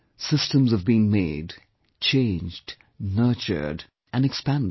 Systems have been made, changed, nurtured, and expanded